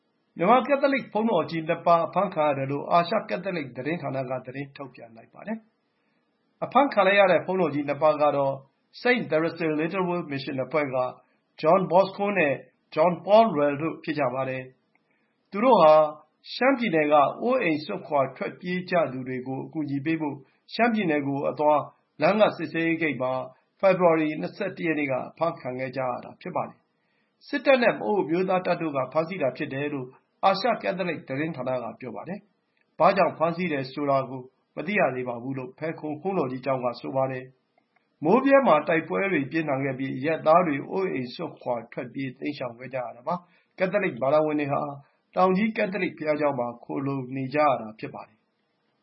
မြန်မာ ကက်သလစ် ဘုန်းတော်ကြီး ၂ ပါး အဖမ်းခံရတယ်လို့ အာရှ ကက်သလစ် သတင်းဌာနက သတင်းထုတ်ပြန်လိုက်ပါတယ်။ အဖမ်းခံလိုက်ရတဲ့ ဘုန်းတော်ကြီး ၂ ပါးကတော့ St. Therese Little Way မစ်ရှင် အဖွဲ့က John Bosco နဲ့ John Paul Lwel တို့ ဖြစ်ကြပါတယ်။ သူတို့ဟာ ရှမ်းပြည်က အိုးအိမ်စွန့်ခွါ ထွက်ပြေးကြသူတွေကို အကူအညီပေးဖို့ ရှမ်းပြည်နယ်ကိုအသွား လမ်းက စစ်ဆေးရေးဂိတ်မှာ ဖေဖော်ဝါရီ ၂၁ ရက်နေ့က အဖမ်းခံခဲ့ကြရတာ ဖြစ်ပါတယ်။ စစ်တပ်နဲ့ပအို့အမျိုးသားတပ်တို့က ဖမ်းဆီးတာဖြစ်တယ်လို့ အာရှကက်သလစ်သတင်းဌာနက ပြောပါတယ်။ ဘာကြောင့် ဖမ်းဆီးတယ်ဆိုတာ မသိရသေးဘူးလို့ ဖယ်ခုံဘုန်းတော်ကြီးကျောင်းက ဆိုပါတယ်။ မိုးဗြဲမှာ တိုက်ပွဲတွေပြင်းထန်ခဲ့ပြီး အရပ်သားတွေ အိုးအိမ်စွန့်ခွါ ထွက်ပြေးတိမ်းရှောင်ခဲ့ကြရတာပါ။ ကက်သလစ် ဘာသာဝင်တွေဟာ တောင်ကြီးကက်သလစ်ဘုရားကျောင်းမှာ ခိုလှုံနေကြရတာဖြစ်ပါတယ်။